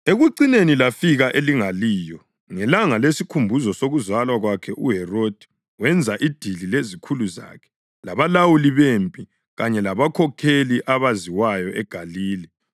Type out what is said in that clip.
Ekucineni lafika elingaliyo. Ngelanga lesikhumbuzo sokuzalwa kwakhe uHerodi wenza idili lezikhulu zakhe labalawuli bempi kanye labakhokheli abaziwayo eGalile.